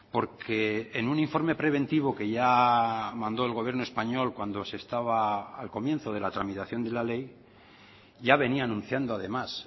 porque en un informe preventivo que ya mandó el gobierno español cuando se estaba al comienzo de la tramitación de la ley ya venía anunciando además